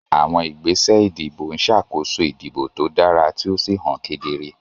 Àwọn ìgbésẹ̀ ìdìbò ń ṣàkóso ìdìbò tó dára tí ó sì hàn kedere.